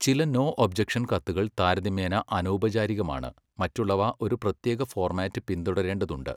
ചില no objection കത്തുകൾ താരതമ്യേന അനൗപചാരികമാണ്, മറ്റുള്ളവ ഒരു പ്രത്യേക ഫോർമാറ്റ് പിന്തുടരേണ്ടതുണ്ട്.